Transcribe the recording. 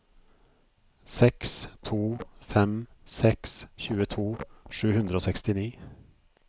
seks to fem seks tjueto sju hundre og sekstini